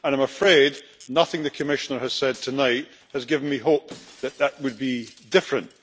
I am afraid that nothing the Commissioner has said tonight has given me hope that this would be different.